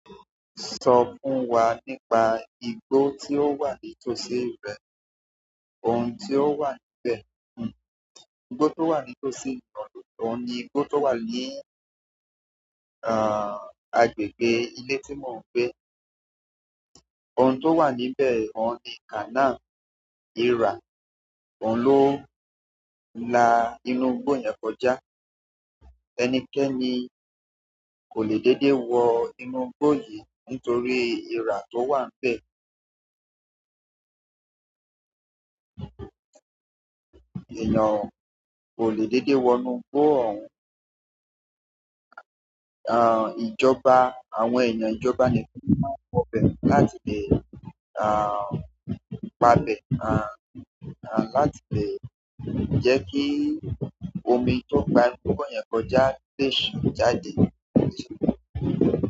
Sọ fún wa nípa igbó tí ó wà nítòsí rẹ, ọ̀hun tí ó wà níbẹ̀. Igbó tó wà nítòsí mi òun ni igbó tó wà ní, àh, agbègbè ìle tí mò ń gbé. Ọ̀un tó wà níbẹ̀, òun ni canal irà, òun ló ń la inú igbó yẹn kọjá. Ẹnikẹ́ni kò le dédé wọ inú igbó yìí nítorí irà tó wà nbẹ̀. Eeyan kò le dédé wọ inú igbó òun. Àh, ìjọba, àwọn èèyàn ìjọba nìkan lo maa n wọ́ bẹ̀ láti lè, àh, gba bẹ̀, àh, àh, láti lè jẹ́ kí omi tó ń gba inú igbó yẹn kọjá lè ṣan jáde.